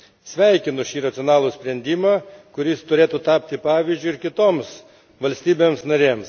Sveikinu šį racionalų sprendimą, kuris turėtų tapti pavyzdžiu ir kitoms valstybėms narėms.